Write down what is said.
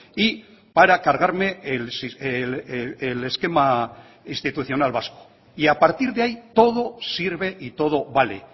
y para cargarme el esquema institucional vasco y a partir de ahí todo sirve y todo vale